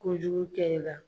Kojugu kɛ i la.